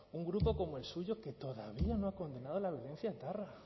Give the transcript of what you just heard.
un grupo como el suyo que todavía no ha condenado la violencia etarra